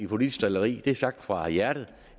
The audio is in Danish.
politisk drilleri det er sagt fra hjertet